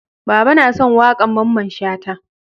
Baba na son waƙan Mamman Shata